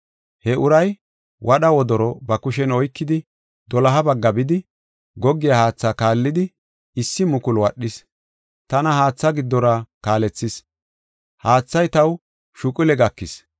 He uray wadha wodoro ba kushen oykidi, doloha bagga bidi, goggiya haatha kaallidi, issi mukulu wadhis. Tana haatha giddora kaalethis; haathay taw shuqule gakis.